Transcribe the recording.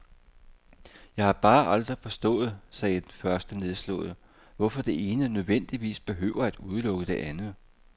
Jeg har bare aldrig forstået, sagde den første nedslået, hvorfor det ene nødvendigvis behøver at udelukke det andet.